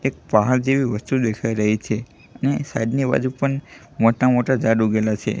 એક પહાડ જેવી વસ્તુ દેખાય રહી છે ને સાઇડ ની બાજુ પણ મોટા મોટા ઝાડ ઊગેલા છે.